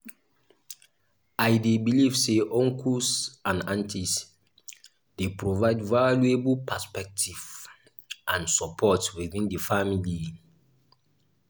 i dey believe say uncles and aunties dey provide valuable perspective and support within the family.